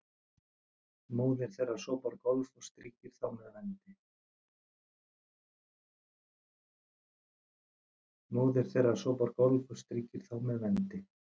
móðir þeirra sópar gólf og strýkir þá með vendi